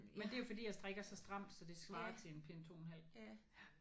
Men det er jo fordi jeg strikker så stramt så det svarer til en pind 2 en halv